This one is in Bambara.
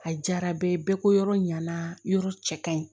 A diyara bɛɛ ye bɛɛ ko yɔrɔ ɲana yɔrɔ cɛ ka ɲi